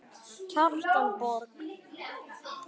Kjartan Borg.